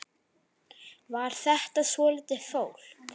Var þetta svolítið flókið?